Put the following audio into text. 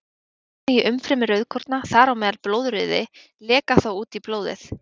Efni í umfrymi rauðkorna, þar á meðal blóðrauði, leka þá út í blóðið.